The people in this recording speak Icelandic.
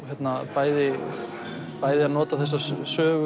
bæði bæði að nota að þessa